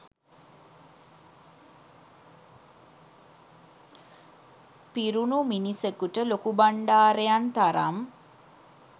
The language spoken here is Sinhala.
පිරුණු මිනිසකුට ලොකුබණ්ඩාරයන් තරම්